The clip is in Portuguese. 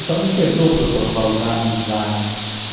Então não quebrou o protocolo da amizade.